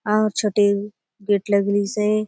आउर छोटे गेट लगलिसे ।